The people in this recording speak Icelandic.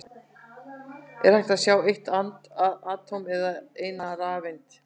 Er hægt að sjá eitt atóm eða eina rafeind?